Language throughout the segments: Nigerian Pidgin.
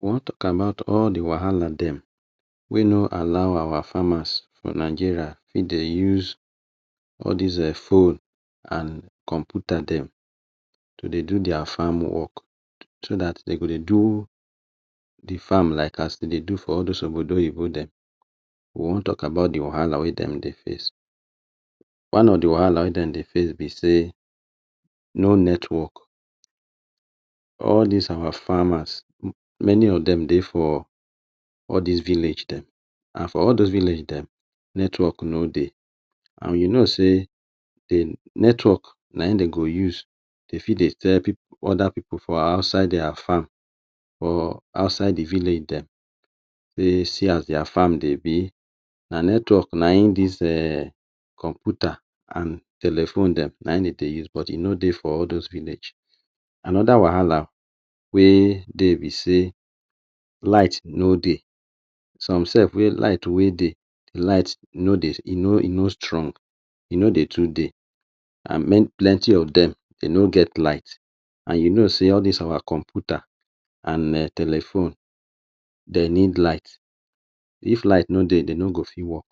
We wan talk about all the wahala dem wey no all our farmers for Nigeria make de use all des um phone and computer dem to dey do their farm work so dat de go dey do the farm as like de dey do for all dos obodo oyinbo dem. We wan talk about the wahala wey dem dey face. One of the wahala wey dem dey face be sey, no network. All des our farmers, many of dem dey for all des village dem and for all dos village dem network no dey and we know sey the network na im de go use. They fit dey tell other people for outside their farm, for outside the village dem sey, see as their farm dey be. Na network na im des computer and telephone dem, na im de dey use but e no dey for all dos village. Another wahala wey dey be sey, light no dey. Some self wey light wey dey, light no dey e n e no strong. E no dey too dey. I mean plenty of dem, de no get light. And you know sey all des our computer and um telephone, de need light. If light no dey, de no go fit work.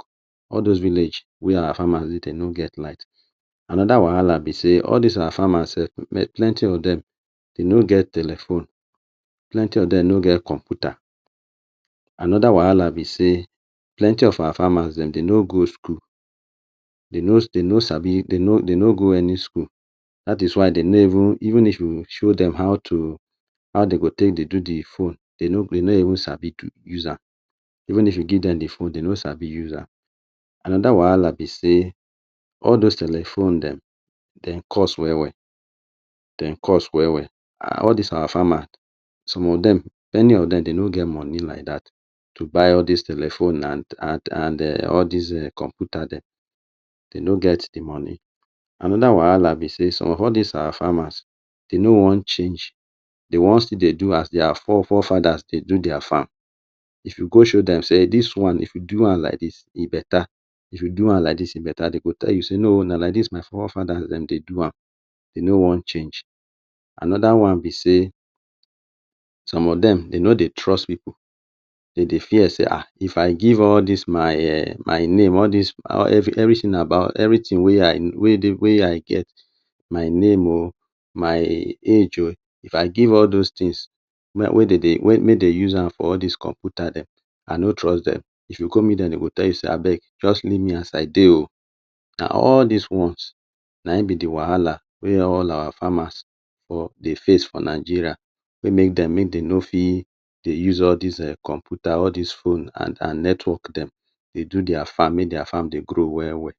All dos village wey our farmers dey, de no get light. Another wahala be sey, all des our farmers self plenty of dem, de no get telephone, plenty of dem no get computer. Another wahala be sey plenty of our farmers de be no go school. De no de no sabi de no de no go any school. Dat is why de no even, even if you show dem how to how de go take dey do the phone, de no go de no even sabi do use am. Even if you give dem the phone, de no sabi use am. Another wahala be sey, all dos telephones dem, de cost well well, de cost well well. And all des our farmer, some of dem many of dem de no get money like dat to buy all des telephone and and um all des computer dem. De no get the money. Another wahala be sey, some of all des our farmers, de no wan change. De wan still dey do as their fore fore fathers dey do their farm. If you go show dem sey dis one, If do am like dis, e better. If you do am like dis, e better. De go tell you sey no, na like dis my fore fathers de dey do am, e no wan change. Another one be sey, some of dem de np dey trust pipu. De dey fear sey ha! If i give all dis my um my name, all dis every everything about everything wey i, wey dey wey i get, my name oh, my age oh. If i give all dos things, where de dey mey dey use am for computer dem, i no trust dem. If you go meet dem de go tell you sey abeg, just leave me as i dey oh. Na all des ones na im be the wahala wey all our farmers dey face for Nigeria wey make dem mey dem no fit dey use all des um computer, all des phone and an network dem dey do their farm. Make their farm dey grow well well.